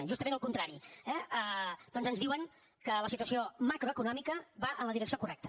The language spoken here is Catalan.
justament al contrari eh doncs ens diuen que la situació macroeconòmica va en la direcció correcta